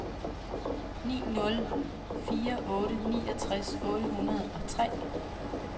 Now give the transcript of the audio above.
ni nul fire otte niogtres otte hundrede og tre